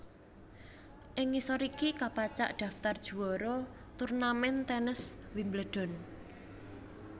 Ing ngisor iki kapacak daftar juwara turnamen tènes Wimbledon